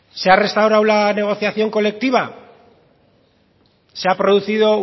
se ha restaurado la negociación colectiva se ha producido